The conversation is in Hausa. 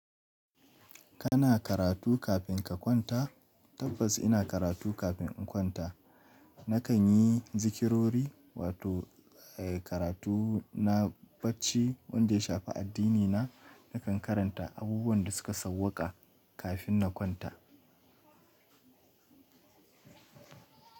Kana karatu kafin ka kwanta? Tabbas ina karatu kafin in kwanta. Nakan yi zikirori wato, eh, karatu na bacci wanda ya shafi addinina. Nakan karanta abubuwan da suka sauƙa kafin na kwanta.